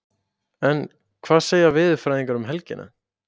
En hvað segja veðurfræðingarnir um helgina?